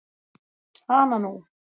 Hana nú.